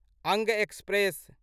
अंग एक्सप्रेस